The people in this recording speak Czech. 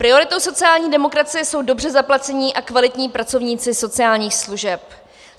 Prioritou sociální demokracie jsou dobře zaplacení a kvalitní pracovníci sociálních služeb.